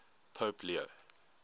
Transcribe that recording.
pope leo